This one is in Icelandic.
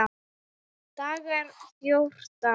Dagar fjórtán